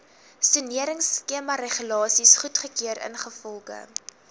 soneringskemaregulasies goedgekeur ingevolge